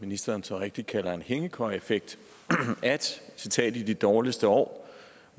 ministeren så rigtigt kalder en hængekøjeeffekt i de dårligste år